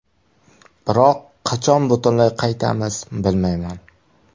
Biroq qachon butunlay qaytamiz, bilmayman.